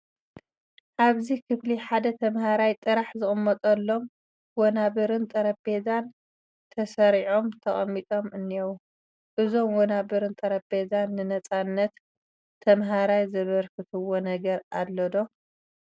ኣብዚ ክፍሊ ሓደ ተመሃራይ ጥራሕ ዝቕመጠሎም ወናብርን ጠረጴዛን ተሰሪዖም ተቐሚጦም እኔዉ፡፡ እዞም ወናብርን ጠረጴዛን ንነፃነት ተመሃራይ ዘበርክትዎ ነገር ኣሎ ዶ?